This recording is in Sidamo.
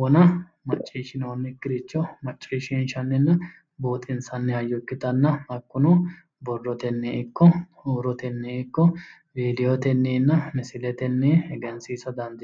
wona maciishshinoonnikirichomaciishiinshshanninna buuxinssanni hayo ikitanna hakuno borotenni iko huurotenniyi iko vidoteniinna misiletenni egensiissa dandiinanni